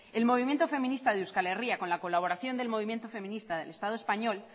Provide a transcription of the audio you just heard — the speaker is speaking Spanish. el movimiento feminista de euskal herria con la colaboración del movimiento feminista del estado español